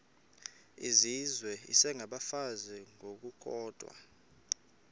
izizwe isengabafazi ngokukodwa